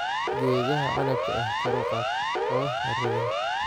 Geedaha canabka ah kor u qaad oo ha rogin.